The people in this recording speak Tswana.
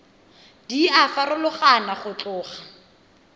di a farologana go tloga